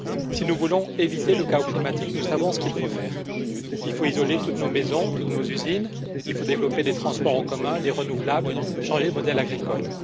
Si nous voulons éviter le chaos climatique, nous savons ce qu'il faut faire il faut isoler toutes nos maisons, toutes nos usines, il faut développer des transports en commun, les renouvelables, changer de modèle agricole.